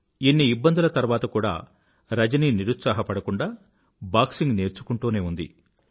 ఇన్ని ఇబ్బందుల తర్వాత కూడా రజని నిరుత్సాహపడకుండా బాక్సింగ్ నేర్చుకుంటూనే ఉంది